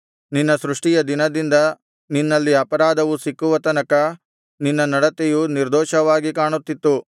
ನಿನ್ನ ಸೃಷ್ಟಿಯ ದಿನದಿಂದ ನಿನ್ನಲ್ಲಿ ಅಪರಾಧವು ಸಿಕ್ಕುವ ತನಕ ನಿನ್ನ ನಡತೆಯು ನಿರ್ದೋಷವಾಗಿ ಕಾಣುತ್ತಿತ್ತು